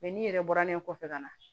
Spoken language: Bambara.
n'i yɛrɛ bɔra ne kɔfɛ ka na